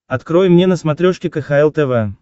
открой мне на смотрешке кхл тв